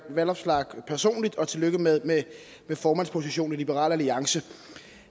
vanopslagh personligt og tillykke med med formandspositionen i liberal alliance